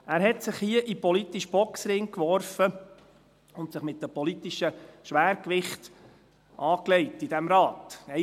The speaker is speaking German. Er warf sich hier in den politischen Boxring und legte sich mit den politischen Schwergewichten in diesem Rat an.